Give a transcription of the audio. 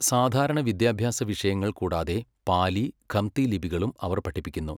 സാധാരണ വിദ്യാഭ്യാസ വിഷയങ്ങൾ കൂടാതെ പാലി, ഖംതി ലിപികളും അവർ പഠിപ്പിക്കുന്നു.